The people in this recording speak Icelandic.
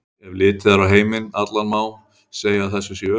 Ef litið er á heiminn allan má segja að þessu sé öfugt farið.